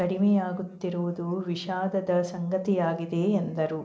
ಕಡಿಮೆಯಾಗುತ್ತಿರುವುದು ವಿಷಾದದ ಸಂಗತಿಯಾಗಿದೆ ಎಂದರು